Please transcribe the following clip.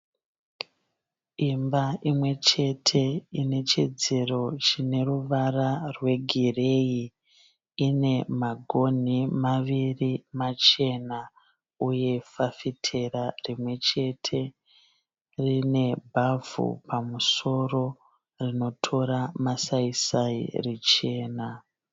Imba imwe chete ine chidziro chineruvara rwegireyi, ine magoni maviri machena uye fafitera rimwe chete. Ine bhavhu pamusoro rinotora masayiyi richena.